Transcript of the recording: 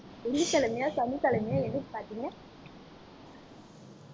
வெள்ளிக்கிழமையா சனிக்கிழமையா எப்போ பார்த்தீங்க